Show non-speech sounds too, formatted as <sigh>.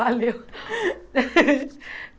<laughs> Valeu! <laughs>